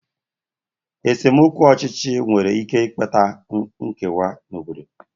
Esemokwu ọchịchị nwere ike ịkpata nkewa n'obodo.